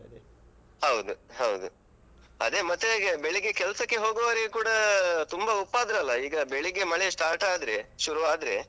ಹೌದು ಹೌದು. ಅದೇ ಮತ್ತೆ ಹೇಗೆ ಬೆಳಿಗ್ಗೆ ಕೆಲ್ಸಕ್ಕೆ ಹೋಗುವವರಿಗು ಕೂಡ ತುಂಬಾ ಉಪದ್ರ ಅಲ್ಲ. ಈಗ ಬೆಳಿಗ್ಗೆ ಮಳೆ start ಆದ್ರೆ ಶುರು ಆದ್ರೆ.